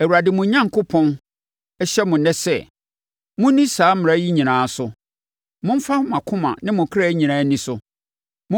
Awurade, mo Onyankopɔn, hyɛ mo ɛnnɛ sɛ, monni saa mmara yi nyinaa so; momfa mo akoma ne mo kra nyinaa nni so.